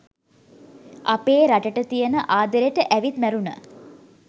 අපේ රටට තියෙන ආදරේට ඇවිත් මැරුණ